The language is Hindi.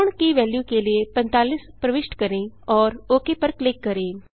कोण की वेल्यू के लिए 45 प्रविष्ट करें और ओक पर क्लिक करें